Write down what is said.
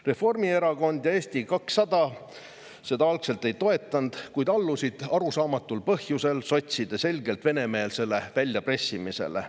Reformierakond ja Eesti 200 seda algul ei toetanud, kuid allusid arusaamatul põhjusel sotside selgelt venemeelsele väljapressimisele.